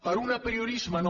per un apriorisme no